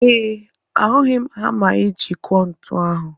Ee, ahụghị m hama iji kụọ ntu ahụ.